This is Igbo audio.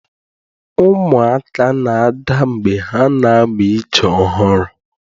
Ụmụaka na-ada mgbe ha na-amụ ije ọhụrụ.